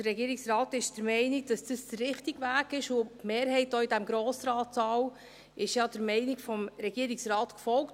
Und der Regierungsrat ist der Meinung, dass dies der richtige Weg ist, und die Mehrheit in diesem Grossratssaal ist der Meinung des Regierungsrates gefolgt.